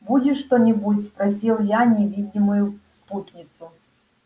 будешь что-нибудь спросил я невидимую спутницу